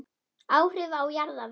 Áhrif á jarðveg